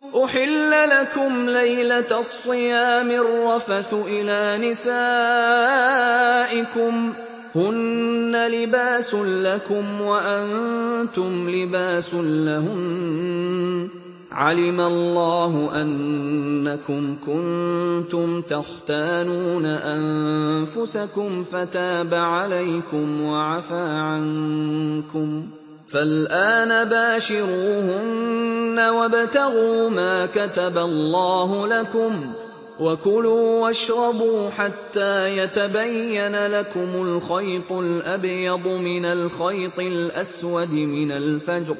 أُحِلَّ لَكُمْ لَيْلَةَ الصِّيَامِ الرَّفَثُ إِلَىٰ نِسَائِكُمْ ۚ هُنَّ لِبَاسٌ لَّكُمْ وَأَنتُمْ لِبَاسٌ لَّهُنَّ ۗ عَلِمَ اللَّهُ أَنَّكُمْ كُنتُمْ تَخْتَانُونَ أَنفُسَكُمْ فَتَابَ عَلَيْكُمْ وَعَفَا عَنكُمْ ۖ فَالْآنَ بَاشِرُوهُنَّ وَابْتَغُوا مَا كَتَبَ اللَّهُ لَكُمْ ۚ وَكُلُوا وَاشْرَبُوا حَتَّىٰ يَتَبَيَّنَ لَكُمُ الْخَيْطُ الْأَبْيَضُ مِنَ الْخَيْطِ الْأَسْوَدِ مِنَ الْفَجْرِ ۖ